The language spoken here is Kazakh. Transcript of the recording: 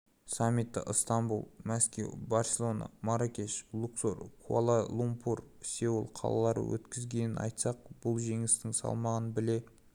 саммитті ыстанбұл мәскеу барселона марракеш луксор куала-лумпур сеул қалалары өткізгенін айтсақ бұл жеңістің салмағын біле